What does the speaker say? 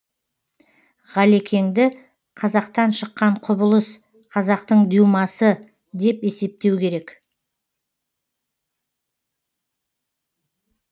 ғалекеңді қазақтан шыққан құбылыс қазақтың дюмасы деп есептеу керек